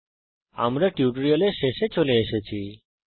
এর সঙ্গে আমরা এই টিউটোরিয়ালের শেষে চলে এসেছি